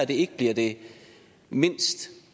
ikke bliver det mindst